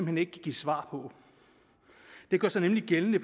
hen ikke kan give svar på det gør sig nemlig gældende